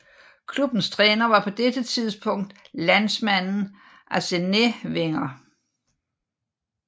Klubbens træner var på dette tidspunkt landsmanden Arsène Wenger